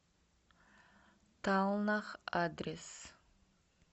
талнах адрес